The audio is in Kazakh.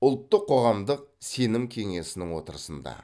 ұлттық қоғамдық сенім кеңесінің отырысында